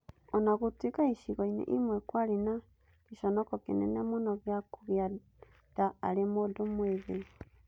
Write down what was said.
O na gũtuĩka icigo-inĩ imwe kwarĩ na gĩconoko kĩnene mũno gĩa kũgĩa nda arĩ mũndũ mwĩthĩ.